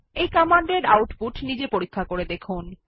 এই কমান্ড এর আউটপুট নিজে দেখুন